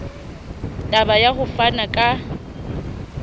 taba ya ho fana ka